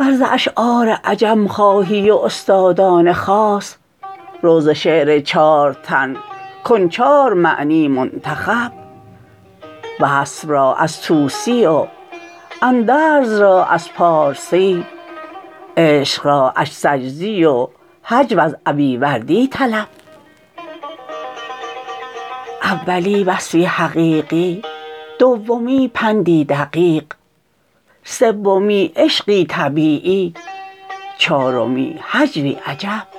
ور ز اشعار عجم خواهی و استادان خاص رو ز شعر چار تن کن چار معنی منتخب وصف را از توسی و اندرز را از پارسی عشق را از سجزی و هجو از ابیوردی طلب اولی وصفی حقیقی دومی پندی دقیق سومی عشقی طبیعی چارمی هجوی عجب